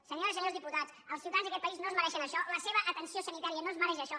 senyores i senyors diputats els ciutadans d’aquest país no es mereixen això la seva atenció sanitària no es mereix això